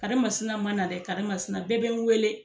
Karimasina ma na dɛ, karimasina bɛɛ be n wele.